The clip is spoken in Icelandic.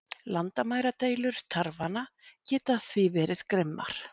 Landamæradeilur tarfanna geta því verið grimmar.